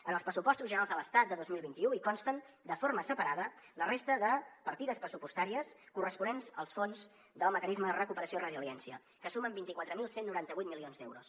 en els pressupostos generals de l’estat de dos mil vint u hi consten de forma separada la resta de partides pressupostàries corresponents als fons del mecanisme de recuperació i resiliència que sumen vint quatre mil cent i noranta vuit milions d’euros